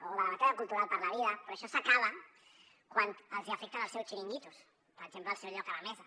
o de la batalla cultural per la vida però això s’acaba quan els afecten el seu xiringuito per exemple al seu lloc a la mesa